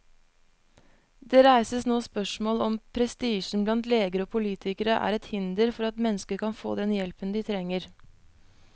Det reises nå spørsmål om prestisjen blant leger og politikere er et hinder for at mennesker kan få den hjelpen de trenger.